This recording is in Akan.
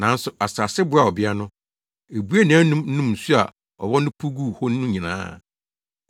Nanso asase boaa ɔbea no. Ebuee nʼanom nom nsu a ɔwɔ no puw guu hɔ no nyinaa.